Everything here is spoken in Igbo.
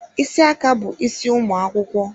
Ísì aka bụ isi ụmụ akwụkwọ.